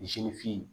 Misi fin